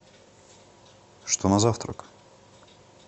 что на завтрак